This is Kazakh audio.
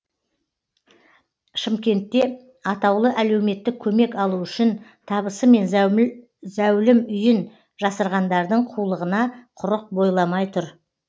шымкентте атаулы әлеуметтік көмек алу үшін табысы мен зәулім зәулім үйін жасырғандардың қулығына құрық бойламай тұр